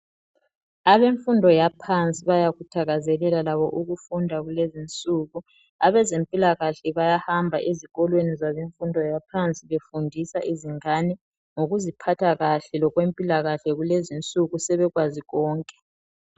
Abemfundo yaphansi bayakuthakazelela labo ukufunda kulezi nsuku abezempilakahle bayahamba ezikolweni zabemfundo yaphansi befundisa izingane ngokuziphatha kahle lokwempilakahle kulezi nsuku sebekwazi konke.